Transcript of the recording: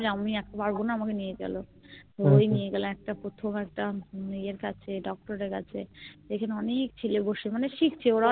আমি এক পারবোনা আমাকে নিয়ে চলো ওই নিয়ে গেলো একটা প্রথম একটা ইয়ের কাছে Doctor এর কাছে এখানে অনেক ছেলে বসে মানে শিখছে